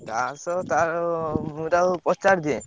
ଦାସ ତାର ତାକୁ ପଚାରି ଦିଏଁ।